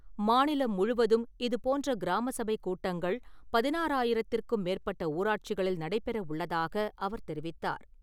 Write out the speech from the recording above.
மாநிலம் முழுவதும் இதுப் போன்ற கிராம சபை கூட்டங்கள் பதினாரயித்திருக்கும் மேற்பட்ட ஊராட்சிகளில் நடைபெற உள்ளதாக அவர் தெரிவித்தார்.